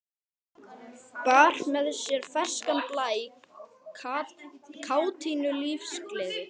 Bar með sér ferskan blæ, kátínu, lífsgleði.